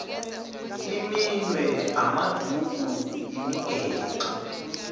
iminwe amaduku imigexo